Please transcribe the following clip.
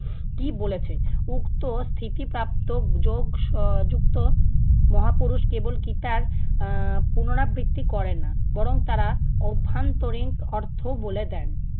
কী বলেছে। উক্ত স্থিতি প্রাপ্ত যোগ এর যুক্ত মহাপুরুষ কেবল গীতার আহ পুনঃরাবৃত্তি করে না বরং তারা অভ্যন্তরীণ অর্থ বলে দেন।